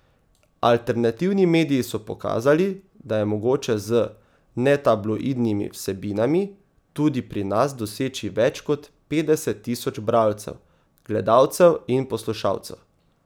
Alternativni mediji so pokazali, da je mogoče z netabloidnimi vsebinami tudi pri nas doseči več kot petdeset tisoč bralcev, gledalcev in poslušalcev.